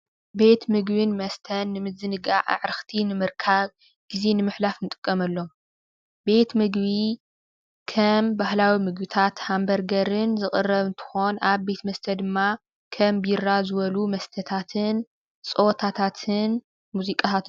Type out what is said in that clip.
ቤት ምግብን መስተን ንምዝንጋዕ ፣አዕርኽቲ ንምርካብ ፣ግዜ ንምሕላፍ ንጥቀመሎም። ቤት ምግቢ ከም ባህላዊ ምግብታት ሃም በርገርን ዝቅርብ እንትኾን አብ ቤት መሰተ ድማ ከም ቢራ ዝበሉ መስተታትን ፀወታትን ሙዚቃታት...